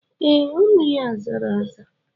Ee, ọnụ ya zara aza.